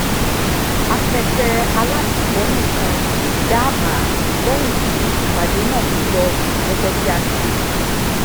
akẹgbẹ alatìlẹyìn kan dá àbá lẹyìn tí ìpàdé náà kò lọ gẹgẹ bí a ti rò